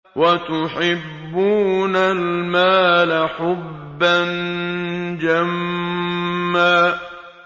وَتُحِبُّونَ الْمَالَ حُبًّا جَمًّا